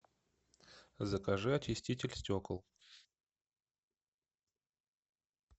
закажи очиститель стекол